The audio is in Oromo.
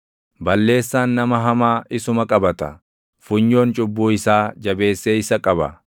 Balleessaan nama hamaa isuma qabaata; funyoon cubbuu isaa jabeessee isa qaba.